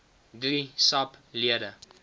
drie sap lede